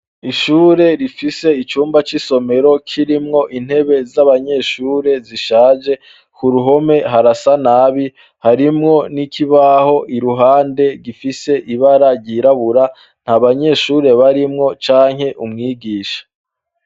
Ishure rifise icumba c'isomero kirimwo intebe z'abanyeshure zishaje ku ruhome harasa nabi harimwo n'ikibaho iruhande gifise ibara ryirabura nta banyeshure barimwo canke umwigisha.